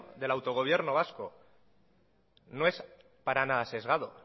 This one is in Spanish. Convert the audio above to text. del autogobierno vasco no es para nada sesgado